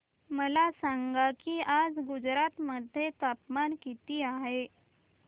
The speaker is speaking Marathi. मला सांगा की आज गुजरात मध्ये तापमान किता आहे